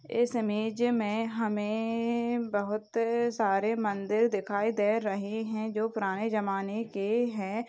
एक टावर लगा हुआ दिखाई दे रहा है और हमे तार भी दो तीन ऊपर दिखाई दे रहे है।